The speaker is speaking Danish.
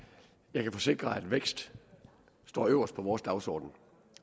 jeg kan forsikre at vækst står øverst på vores dagsorden